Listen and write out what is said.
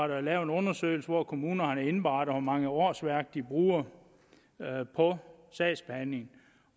der lavet en undersøgelse hvor kommunerne har indberettet hvor mange årsværk de bruger på sagsbehandlingen